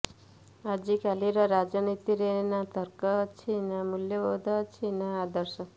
ଆଜିକାଲିର ରାଜନୀତିରେ ନା ତର୍କ ଅଛି ନା ମୂଲ୍ୟବୋଧ ଅଛି ନା ଆଦର୍ଶ